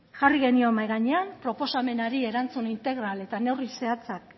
jarri genion mahai gainean proposamenari erantzun integral eta neurri zehatzak